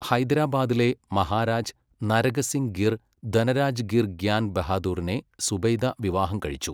ഹൈദരാബാദിലെ മഹാരാജ് നരഗസിങ്ഗിർ ധനരാജ്ഗിർ ഗ്യാൻ ബഹാദൂറിനെ സുബൈദ വിവാഹം കഴിച്ചു.